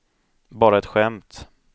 bara ett skämt